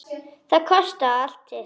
Það kostar allt sitt.